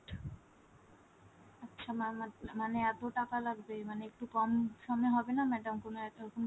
আচ্ছা mam আচ্ছা মানে এত টাকা লাগবে মানে, একটু কম সমে হবে না madam !